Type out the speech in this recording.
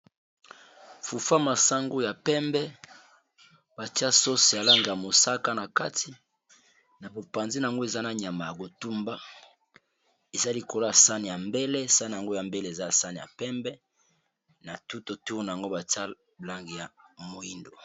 Fufa masango ya pembe, batia sose alange ya mosaka, na kati na bopanzin yango eza na nyama ya kotumba eza likolo sane ya mbele sane yango ya mbele eza sane ya pembe, na tuto tourna yango batia blange ya moindo.